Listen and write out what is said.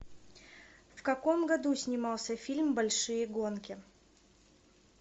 в каком году снимался фильм большие гонки